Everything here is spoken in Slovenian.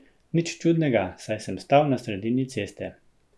Nič čudnega, saj sem stal na sredini ceste.